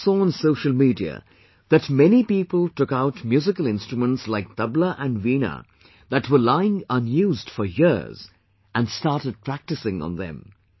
I also saw on social media, that many people took out musical instruments like table and Veena that were lying unused for years and started practising on them